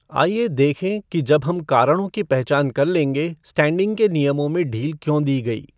आइए देखें कि जब हम कारणों की पहचान कर लेंगे स्टैंडिंग के नियम में ढील क्यों दी गई?